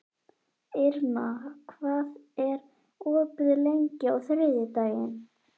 Irma, hvað er opið lengi á þriðjudaginn?